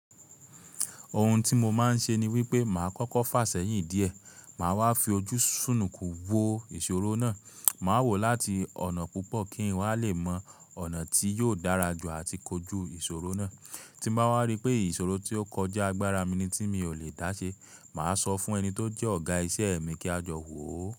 Ohun tí mo máa ń ṣe ni wípé màá kọ́kọ́ fà sẹ́yìn díẹ̀, màá wá fi ojú ń súnù kù wo ìṣòro náà, màá wò ó láti ọ̀nà púpọ̀ kí n wá lè mọ ọ̀nà tí yóò dára jù àti kojú ìṣòro náà. Tí bá wá rí pé ìṣòro tí ó kọjá agbára mi ni tí mi ò lè dáṣe, màá sọ fún ẹni tó jẹ́ ọ̀gá iṣẹ́ mi kí a jọ wò ó.